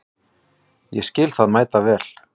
Ég skil það mæta vel.